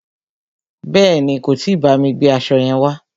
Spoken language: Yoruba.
Bèéni, kò tí bámi gbe aṣo yẹn wá.